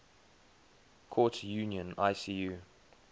courts union icu